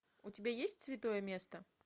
у тебя есть святое место